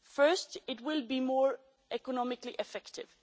First, it will be more economically effective.